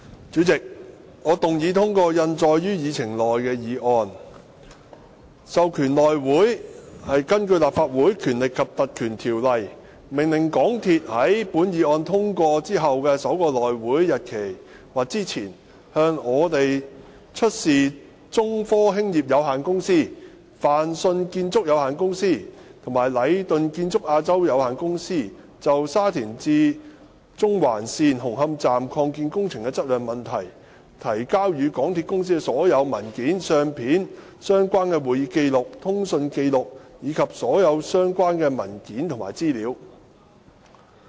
主席，我動議通過印載於議程內的議案，授權內務委員會根據《立法會條例》，命令香港鐵路有限公司於本議案獲通過後的首個內會會議日期或之前，向我們出示中科興業有限公司、泛迅建築有限公司和禮頓建築有限公司就沙田至中環線紅磡站擴建工程質量問題，提交予港鐵公司的所有文件、相片、相關的會議紀錄、通訊紀錄，以及所有其他相關的文件和資料。